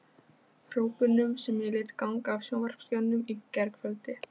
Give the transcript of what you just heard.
hrópunum sem ég lét ganga af sjónvarpsskjánum í gærkvöldi.